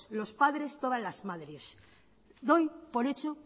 los padres todas la madres doy por hecho